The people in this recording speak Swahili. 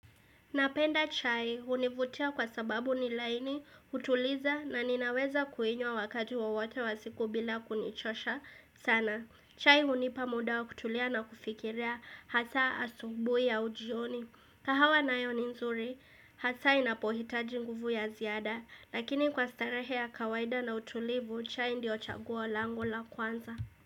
Napenda chai hunivutia kwa sababu ni laini, hutuliza na ninaweza kuinywa wakati wowote wa siku bila kunichosha sana. Chai hunipa muda wa kutulia na kufikirea, hasaa asubui au jioni. Kahawa nayo ni nzuri, hasaa inapohitaji nguvu ya ziada, lakini kwa starehe ya kawaida na utulivu, chai ndio chaguo lango la kwanza.